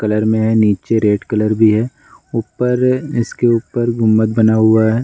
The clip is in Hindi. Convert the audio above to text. कलर में नीचे रेड कलर भी है। ऊपर इसके ऊपर गुम्बद बना हुआ है।